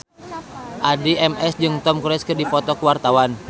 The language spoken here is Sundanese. Addie MS jeung Tom Cruise keur dipoto ku wartawan